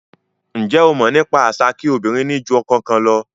Njé o mọ̀ nípa àṣà kí obìnrin ni jù ọkọ kan lọ?